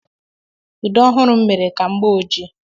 Ude ọhụrụ m mere ka m gbaa ọjii.